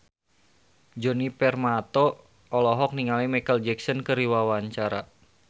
Djoni Permato olohok ningali Micheal Jackson keur diwawancara